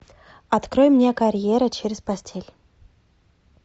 открой мне карьера через постель